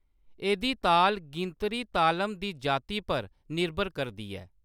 एह्‌‌‌दी ताल गिनतरी तालम दी जाति पर निर्भर करदी ऐ।